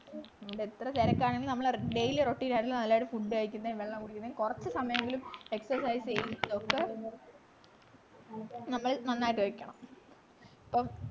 എത്ര തിരക്കാണെങ്കിലും നമ്മള് daily routine നള്ളൊരു food കഴിക്കുന്നേം വെള്ളം കുടിക്കുന്നേം കൊറച്ചു സമായെങ്കിലും excercise ചെയ്യുന്നതൊക്കെ നമ്മൾ നന്നായിട്ട് വെക്കണം പ്പോ